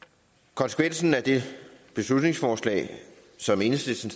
konsekvensen af det beslutningsforslag som enhedslisten